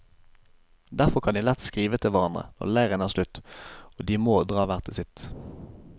Derfor kan de lett skrive til hverandre når leiren er slutt og de må dra hver til sitt.